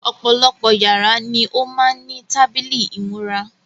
Ọ̀pọ̀lọpọ̀ yàrá ni ó má ń ní tábìlì ìmúra.